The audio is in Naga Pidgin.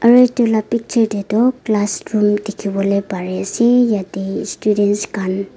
aro etu laka picture de tu classroom diki bolae pari ase yete students kan.